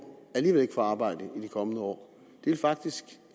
alligevel ikke får arbejde i de kommende år faktisk